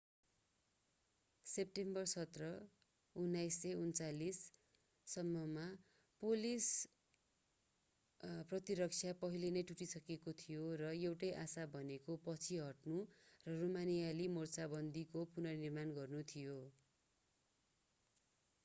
सेम्टेम्बर 17 1939 सम्ममा पोलिस प्रतिरक्षा पहिले नै टुटिसकेको थियो र एउटै आशा भनेको पछि हट्नु र रोमानियाली मोर्चाबन्दीको पुनर्निर्माण गर्नु थियो